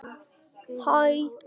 Og nú er Árni farinn.